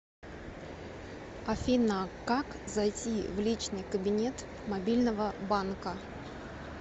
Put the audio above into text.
афина как зайти в личный кабинет мобильного банка